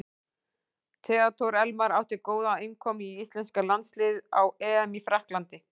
Theodór Elmar átti góða innkomu í íslenska landsliðið á EM í Frakklandi.